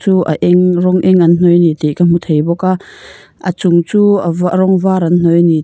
a eng rawng eng an hnawih a ni tih ka hmu thei bawk a a chung chu a va rawng var an hnawih a ni--